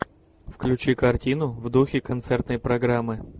включи картину в духе концертной программы